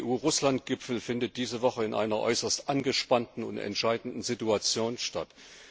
Der EU Russland Gipfel findet diese Woche in einer äußerst angespannten und entscheidenden Situation statt.